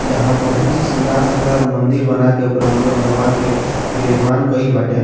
यहाँ बहुत ही शानदार-शानदार मंदिर बना के ओकर अंदर भगवान के विराजमान कैल बाटे।